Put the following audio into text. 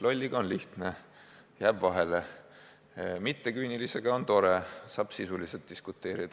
Lolliga on lihtne, jääb vahele, mitteküünilisega on tore, saab sisuliselt diskuteerida.